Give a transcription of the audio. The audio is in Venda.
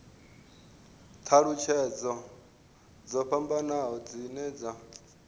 thalutshedzo dzo fhambanaho dzine dza